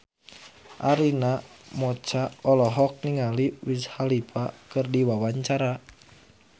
Arina Mocca olohok ningali Wiz Khalifa keur diwawancara